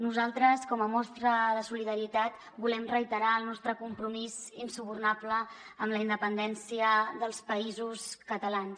nosaltres com a mostra de solidaritat volem reiterar el nostre compromís insubornable amb la independència dels països catalans